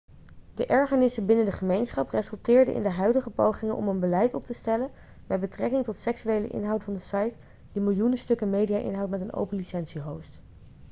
de ergernissen binnen de gemeenschap resulteerde in de huidige pogingen om een beleid op te stellen met betrekking tot seksuele inhoud van de site die miljoenen stukken media-inhoud met een open licentie host